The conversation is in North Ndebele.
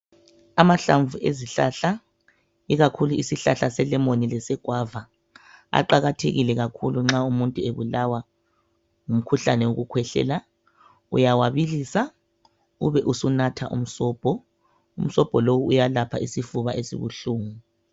Amahlamvu ezihlahla ikakhulu isihlahla se lemon lese guava aqakathekile kakhulu nxa umuntu ebulawa ngumkhuhlane wokukhwehlela uyawabilisa ube usunatha umsobho, umsobho lo uyalapha isifuba esibuhlungu.